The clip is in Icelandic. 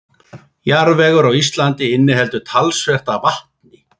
Jarðvegur á Íslandi inniheldur talsvert af vatni.